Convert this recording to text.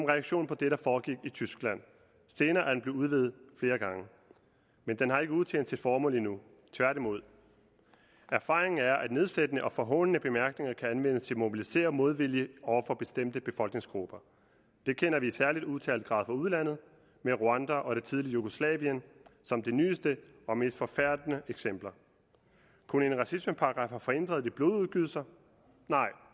reaktion på det der foregik i tyskland senere er den blevet udvidet flere gange men den har ikke udtjent sit formål endnu tværtimod erfaringen er at nedsættende og forhånende bemærkninger kan anvendes til at mobilisere modvilje over for bestemte befolkningsgrupper det kender vi i særlig udtalt grad fra udlandet med rwanda og det tidligere jugoslavien som de nyeste og mest forfærdende eksempler kunne en racismeparagraf have forhindret de blodudgydelser nej